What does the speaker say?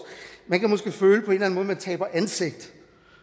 man kan at man taber ansigt